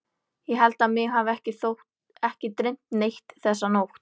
Ég held að mig hafi ekki dreymt neitt þessa nótt.